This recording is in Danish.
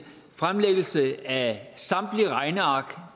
fremlæggelse af samtlige regneark